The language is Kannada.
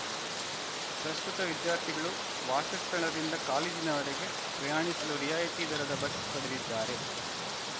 ಪ್ರಸ್ತುತ ವಿದ್ಯಾರ್ಥಿಗಳು ವಾಸಸ್ಥಳದಿಂದ ಕಾಲೇಜಿನವರೆಗೆ ಪ್ರಯಾಣಿಸಲು ರಿಯಾಯಿತಿ ದರದ ಬಸ್‌ ಪಡೆದಿದ್ದಾರೆ